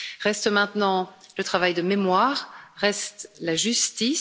Reste maintenant le travail de mémoire, reste la justice.